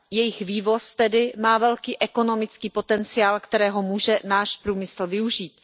Jejich vývoz tedy má velký ekonomický potenciál, kterého může náš průmysl využít.